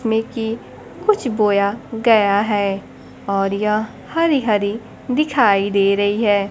में की कुछ बोया गया है और यह हरी हरी दिखाई दे रही है।